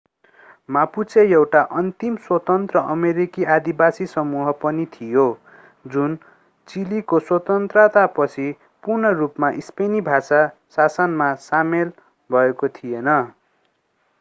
Mapuche एउटा अन्तिम स्वतन्त्र अमेरिकी आदिवासी समूह पनि थियो जुन चिलीको स्वतन्त्रतापछि पूर्ण रूपमा स्पेनी भाषी शासनमा सामेल भएको थिएन